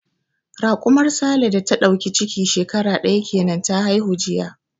Raƙumar Sale da ta dauki ciki shekara daya kenan ta haihu jiya.